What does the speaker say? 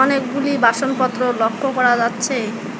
অনেকগুলি বাসনপত্র লক্ষ্য করা যাচ্ছে।